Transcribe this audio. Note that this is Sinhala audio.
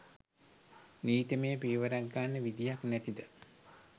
නීතිමය පියවරක් ගන්න විදියක් නැතිද?